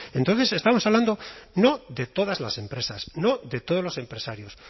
entonces estamos hablando no de todas las empresas no de todos los empresarios